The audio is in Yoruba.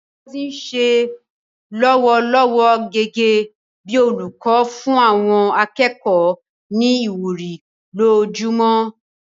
Ngozi ń ṣiṣẹ́ lọ́wọ́lọ́wọ́ gẹ́gẹ́ bí olùkọ́, ó ń fún àwọn akẹ́kọ̀ọ́ ní ìwúrí lójoojúmọ́.